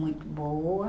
Muito boa.